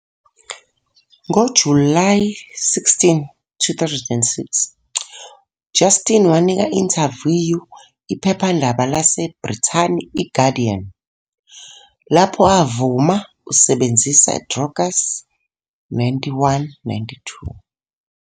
Ngo-July 16, 2006, Justin wanika-intaviyu iphephandaba laseBrithani i-Guardian, lapho avuma usebenzisa drogas.91 92